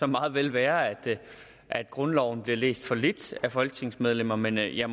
meget vel være at grundloven bliver læst for lidt af folketingsmedlemmer men jeg